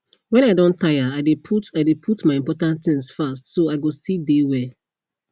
when i don tire i de put i de put my important things fast so i go still de well